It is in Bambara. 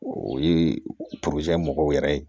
O ye mɔgɔw yɛrɛ ye